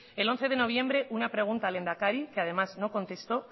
el once de noviembre una pregunta al lehendakari que además no contestó